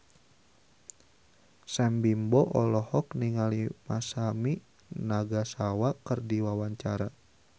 Sam Bimbo olohok ningali Masami Nagasawa keur diwawancara